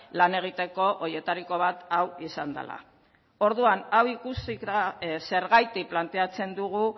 lan egiteko horietariko bat hau izan dela orduan hau ikusita zergatik planteatzen dugu